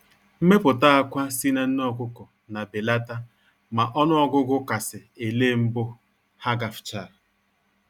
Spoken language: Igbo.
Mmepụta akwa si na nne ọkụkọ na belata ma ọnụ ọgụgụ kasị ele mbụ ha gafchaa